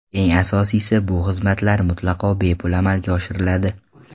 Eng asosiysi, bu xizmatlar mutlaqo bepul amalga oshiriladi.